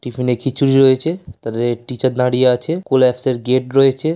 টিফিনে খিচুরি রয়েছে ।তাদের টিচার দাঁড়িয়ে আছে। কোল্যাপস -এর গেট রয়েছে।